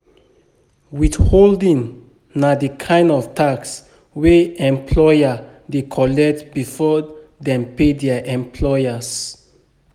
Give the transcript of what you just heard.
Withholding na di kind of tax wey employer dey collect before dem pay their employers